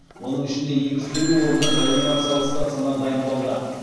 оның ішінде екі жүз елу орындық реанимациялық стационар дайындалды